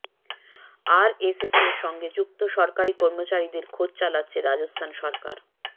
আরএসএসের সঙ্গে যুক্ত সরকারি কর্মচারিদের খোঁজ চালাচ্ছে রাজস্থান সরকার